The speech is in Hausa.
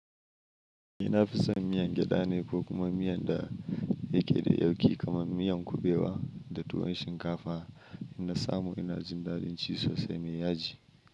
Ina fi son miyan gyada ne ko kuma miyan da yake da yauƙi kamar miyan kuɓewa da tuwon shinkafa. In na samu ina jin daɗin ci sosai mai yaji.